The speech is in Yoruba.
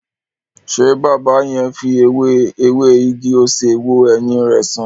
Ṣé baba yẹn fi ewé ewé igi-osè wo ẹyin rẹ san?